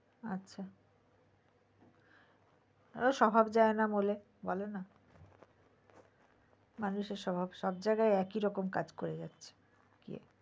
ওই স্বভাব যায়না মূলে বলেনা মানুষের স্বভাব সব জায়গায় একইরকম কাজ করে যাচ্ছে